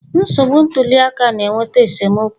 Nsogbu ntuli aka na-eweta esemokwu